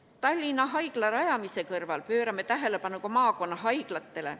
Tallinna Haigla rajamise kõrval pöörame tähelepanu ka maakonnahaiglatele.